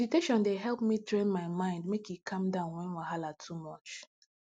meditation dey help me train my mind make e calm down when wahala too much